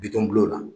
Bitɔn bulon la